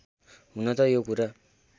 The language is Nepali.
हुन त यो कुरा